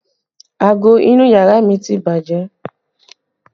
Aago inú yàrá mi ti bàjẹ́